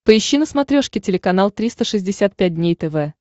поищи на смотрешке телеканал триста шестьдесят пять дней тв